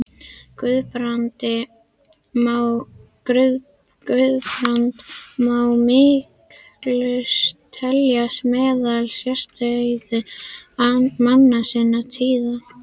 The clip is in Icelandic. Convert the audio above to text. Guðbrand má hiklaust telja meðal sérstæðustu manna sinnar tíðar.